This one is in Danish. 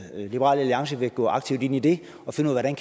liberal alliance vil gå aktivt ind i det og finde ud af